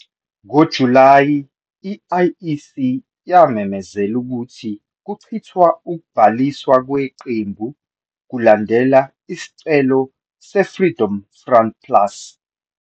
NgoJulayi, i-IEC yamemezela ukuthi kuchithwa ukubhaliswa kweqembu, kulandela isicelo se-Freedom Front Plus.